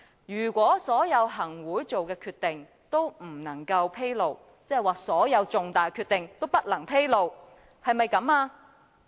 是否所有行會的決定皆不能披露，即所有重大的決定皆不能披露呢？